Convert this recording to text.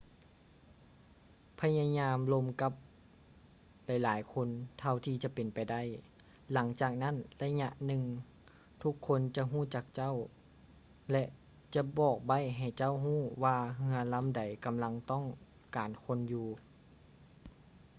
ພະຍາຍາມລົມກັບຫຼາຍໆຄົນເທົ່າທີ່ຈະເປັນໄປໄດ້ ຫຼັງຈາກນັ້ນໄລຍະໜຶ່ງທຸກຄົນຈະຮູ້ຈັກເຈົ້າ ແລະ ຈະບອກໄບ້ໃຫ້ເຈົ້າຮູ້ວ່າເຮືອລຳໃດກຳລັງຕ້ອງການຄົນຢູ່